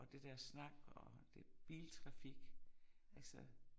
Og det der snak og det biltrafik altså